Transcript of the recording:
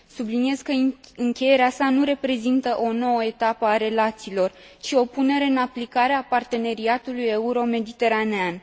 Subliniez că încheierea sa nu reprezintă o nouă etapă a relațiilor, ci o punere în aplicare a parteneriatului euro mediteraneean.